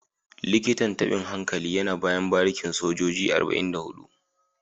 Likitan tabin hankali yana bayan barikin sojoji 44